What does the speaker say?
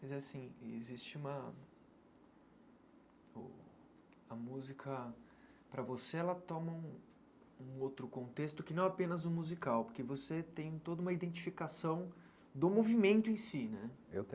Mas, assim, existe uma... O a música, para você, ela toma um um outro contexto que não é apenas o musical, porque você tem toda uma identificação do movimento em si, né? Eu